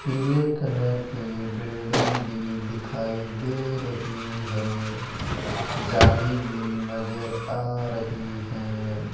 पीले कलर की बिल्डिंग भी दिखाई दे रही है जाली भी नजर आ रही है।